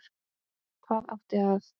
Hvað átti að